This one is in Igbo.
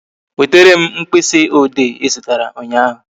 Wetere m mkpịsị ode Ị zụtara ụnyaahụ